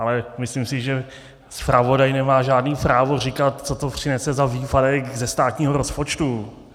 Ale myslím si, že zpravodaj nemá žádné právo říkat, co to přinese za výpadek ze státního rozpočtu.